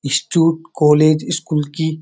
institute college school की --